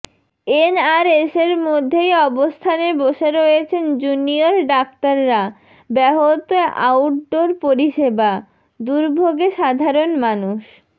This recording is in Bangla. এনআরএসের মধ্যেই অবস্থানে বসে রয়েছেন জুনিয়র ডাক্তাররা ব্যাহত আউটডোর পরিষেবা দুর্ভোগে সাধারণ মানুষ